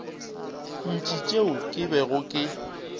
ntši tšeo ke bego ke